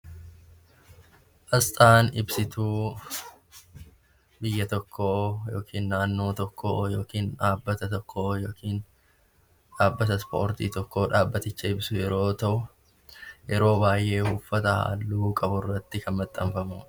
Asxaan ibsituu biyya tokkoo yookiin naannoo tokkoo olii yookiin dhaabbata tokko yookaan dhaabbata ispoortii ibsu tokkoof yoo ta'u, yeroo baayyee uffata halluu qabu irratti kan maxxanfamudha.